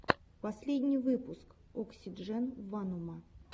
последний выпуск оксидженванума